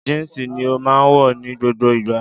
Jínsì ni ó máa wọ̀ ní gbogbo ìgbà